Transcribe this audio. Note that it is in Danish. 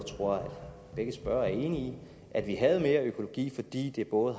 tror at begge spørgere er enige i at vi havde mere økologi fordi det både